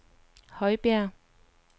Højbjerg